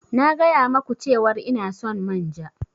Na gaya ma ku cewar ina son manja.